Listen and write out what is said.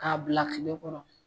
K'a bila kile kɔrɔ